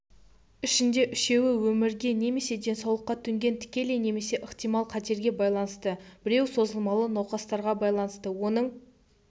ішінде үшеуі өмірге немеседенсаулыққа төнген тікелей немесе ықтимал қатерге байланысты біреуі созылмалы науқастарға байланысты оның